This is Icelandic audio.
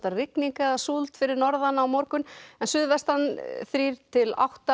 rigning eða súld fyrir norðan á morgun en suðvestan þrjú til átta